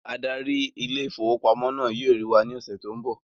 Adarí ile-ìfowópamó náà yóò rí wà ní ọsẹ tó n bọ